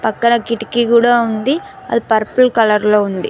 పక్కన కిటికీ గూడా ఉంది అది పర్పల్ కలర్ లో ఉంది.